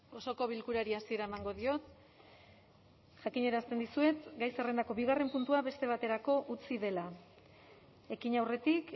osoko bilkurari hasiera emango diot jakinarazten dizuet gai zerrendako bigarren puntua beste baterako utzi dela ekin aurretik